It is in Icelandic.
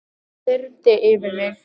Það þyrmdi yfir mig.